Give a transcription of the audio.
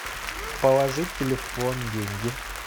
положить телефон деньги